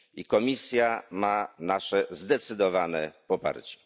I Komisja ma nasze zdecydowane poparcie.